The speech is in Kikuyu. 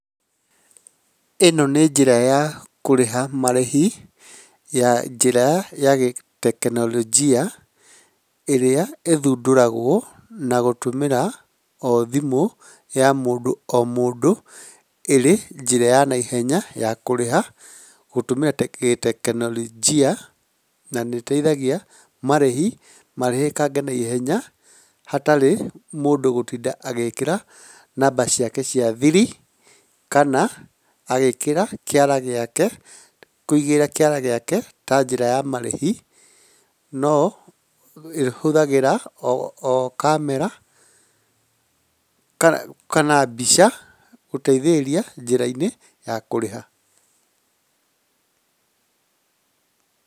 ĩno nĩ njĩra ya kũrĩha marĩhi ya njĩra ya gĩ- tekinorojia, ĩrĩa ĩthundũragwo na gũrũmĩra o thimũ ya mũndũ o mũndũ ĩrĩ njĩra ya naihenya ya kũrĩha gũtũmĩra tekinorojia na nĩĩteithagia marĩhi marĩhĩkange na ihenya, hatarĩ mũndũ gũtinda agĩkĩra namba ciake cia thiri, kana agĩkĩra kĩara gĩake, kũigĩrĩra kĩara giake ta njĩra ya marĩhi, nobihũthagĩra o kamera kana mbica gũteithĩrĩria njĩra-inĩ ya kũrĩha.